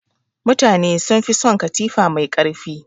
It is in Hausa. Mutane sun fi son katifa mai ƙarfi.